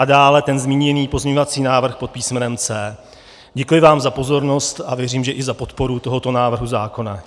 A dále ten zmíněný pozměňovací návrh pod písmenem C. Děkuji vám za pozornost a věřím, že i za podporu tohoto návrhu zákona.